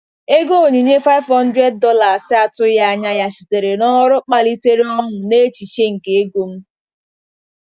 Ego onyinye $500 atụghị anya ya sitere n'ọrụ kpalitere ọṅụ n'echiche nke ego m.